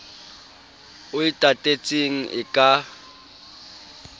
o e tatetseng e ka